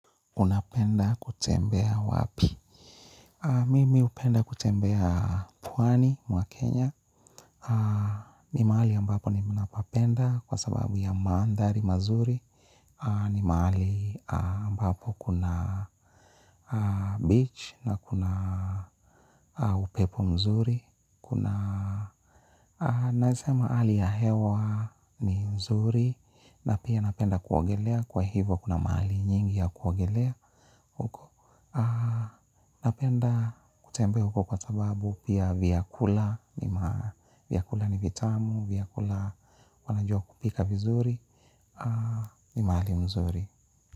Unapenda kutembea wapi? Mimi hupenda kutembea pwani, mwa Kenya. Ni mahali ambapo ninapapenda kwa sababu ya mandhari mazuri. Ni mahali ambapo kuna beach na kuna upepo mzuri. Kuna naweza sema hali ya hewa ni nzuri. Na pia napenda kuogelea kwa hivo kuna mahali nyingi ya kuogelea huko. Napenda kutembea huko kwa sababu pia vyakula. Vyakula ni vitamu, vyakula wanajua kupika vizuri ni mahali nzuri.